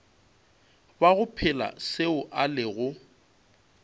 bago phela seo a lego